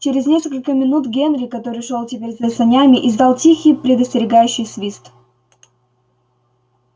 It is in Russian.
через несколько минут генри который шёл теперь за санями издал тихий предостерегающий свист